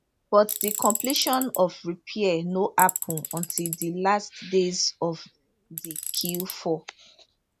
but di completion of repair no happun until di last days of di q4